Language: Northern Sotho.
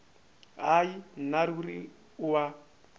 hai nna ruri o a